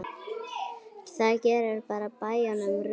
það gerir á bæjunum rjúka.